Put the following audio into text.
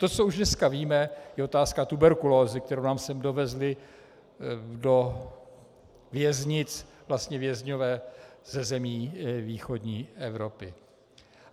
To, co už dneska víme, je otázka tuberkulózy, kterou nám sem dovezli do věznic vlastně vězňové ze zemí východní Evropy.